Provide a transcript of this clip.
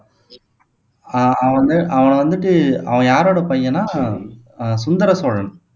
ஆஹ் அவன் வந்து அவனை வந்துட்டு அவன் யாரோட பையன்னா அஹ் சுந்தர சோழன்